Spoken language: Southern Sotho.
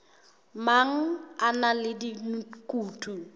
mang a na le dikutu